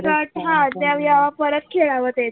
परत खेळाव ते.